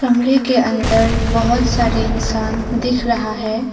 कमरे के अंदर बहुत सारे इंसान दिख रहा है।